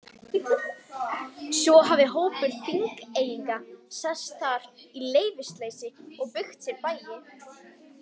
Svo hafi hópur Þingeyinga sest þar að í leyfisleysi og byggt sér bæi.